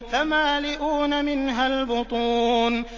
فَمَالِئُونَ مِنْهَا الْبُطُونَ